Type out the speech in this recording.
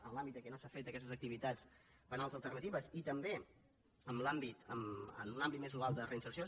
en l’àmbit en què no s’han fet aquestes activitats penals alternatives i també en un àmbit més global de reinserció